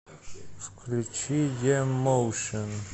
включи е моушн